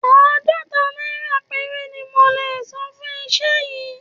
Àádọ́ta náírà péré ni mo lè san fún iṣẹ́ yìí